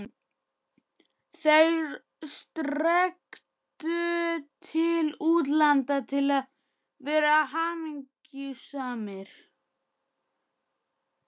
ÞEIR strekktu til útlanda til að vera hamingjusamir.